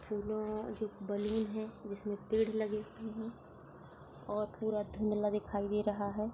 Balloon है जिसमें पेड़ लगे हुए है और पूरा धुन्धला दिखाई दे रहा है।